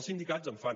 els sindicats en fan